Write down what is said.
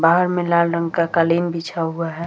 बाहर में लाल रंग का कालीन बिछा हुआ है ।